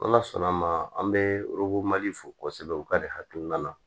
Ala sɔnn'an ma an bɛ mali fɔ kosɛbɛ u ka de hakilina na